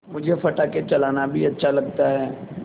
मुझे पटाखे चलाना भी अच्छा लगता है